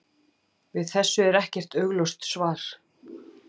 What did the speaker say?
Við þessu er ekkert augljóst svar.